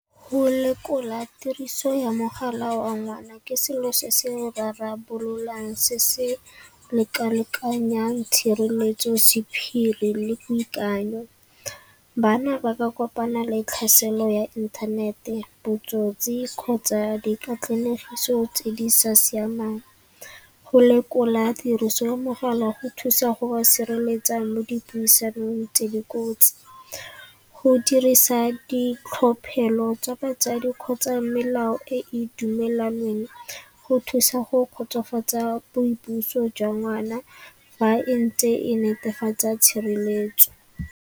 Go lekola tiriso ya mogala wa ngwana ke selo se se rarabololwang se se leka-lekanyang tshireletso sephiri le boikanyo. Bana ba ka kopana le tlhaselo ya inthanete, botsotsi kgotsa dikatlanegiso tse di sa siamang. Go lekola tiriso ya mogala go thusa go ba sireletsa mo dipuisanong tse di kotsi. Go dirisa ditlhophelo tsa batsadi kgotsa melao e dumelaneng go thusa go kgotsofatsa boipuso jwa ngwana fa e ntse e netefatsa tshireletso.